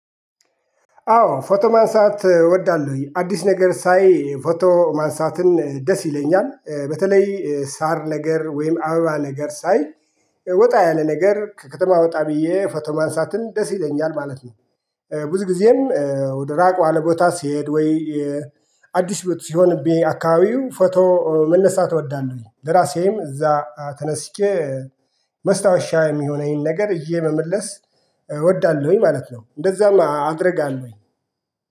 አዎ ፎቶ ማንሳት እወዳለሁኝ አዲስ ነገር ሳይ ፎቶ ማንሳትን ደስ ይለኛል በተለይ ሳር ነገር ወይም አበባ ነገር ሳይ ወጣ ያለ ነገር ከከተማ ወጣ ብዬ ፎቶ ማንሳትን ደስ ይለኛል ማለት ነው። ብዙ ጊዜም ወደ ራቅ ያለ ቦታ ስሄድ ወይ? አዲስ ሲሆንብኝ አካባቢው ፎቶ መነሳት እወዳለሁኝ ለራሴም እዛ ተነስቼ ማስታወሻ የሚሆነኝን ነገር ይዤ መመለስ እወዳለሁኝ ማለት ነው። እንደዛም አደርጋለሁኝ